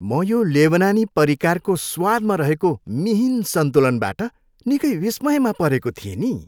म यो लेबनानी परिकारको स्वादमा रहेको मिहिन सन्तुलनबाट निकै विस्मयमा परेको थिएँ नि।